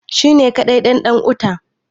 shi ne kadai ɗan ɗan'uta